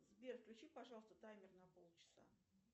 сбер включи пожалуйста таймер на пол часа